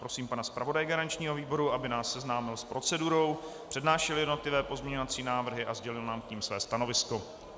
Prosím pana zpravodaje garančního výboru, aby nás seznámil s procedurou, přednášel jednotlivé pozměňovací návrhy a sdělil nám k nim své stanovisko.